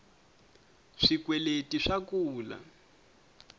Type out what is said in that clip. swikweleti swa kula